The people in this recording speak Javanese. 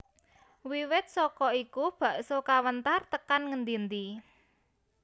Wiwit saka iku bakso kawentar tekan ngendi endi